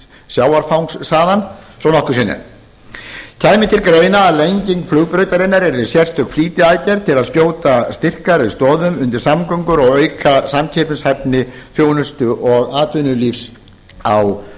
sjávarfangs þaðan svo nokkur sé nefnt kæmi til greina að lenging flugbrautarinnar yrði sérstök flýtiaðgerð til að skjóta styrkari stoðum undir samgöngur og auka samkeppnishæfni þjónustu og atvinnulíf á